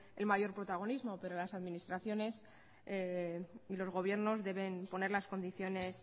el mayor protagonismo pero las administraciones y los gobiernos deben poner las condiciones